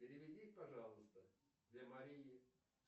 переведи пожалуйста для марии